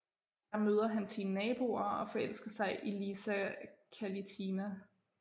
Der møder han sine naboer og forelsker sig i Lisa Kalitina